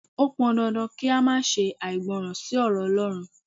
O pọn dandan kí a má ṣe àìgbọràn sí ọ̀rọ̀ Ọlọ́run.